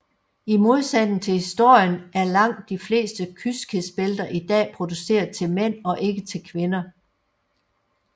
I modsætning til historien er langt de fleste kyskhedsbælter i dag produceret til mænd og ikke til kvinder